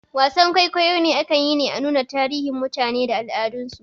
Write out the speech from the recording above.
Wasar kwaikwayo akan yi ne a nuna tarihin mutane da al'adan su